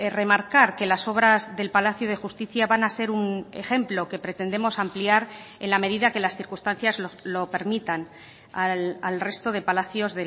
remarcar que las obras del palacio de justicia van a ser un ejemplo que pretendemos ampliar en la medida que las circunstancias lo permitan al resto de palacios